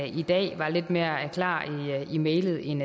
i dag var lidt mere klar i mælet end